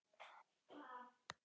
Blessuð sé minning góðs félaga.